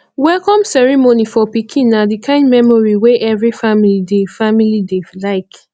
welcome ceremony for pikin na di kind memory wey every family dey family dey like